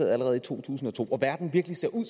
allerede i to tusind og to og verden virkelig ser ud